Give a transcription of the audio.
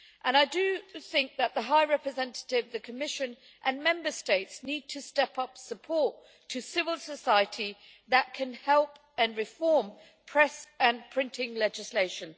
I think that the High Representative, the Commission and Member States need to step up support to civil society that can help and reform press and printing legislation.